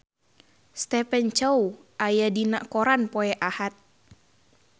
Stephen Chow aya dina koran poe Ahad